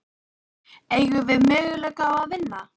Eigum við möguleika á að vinna?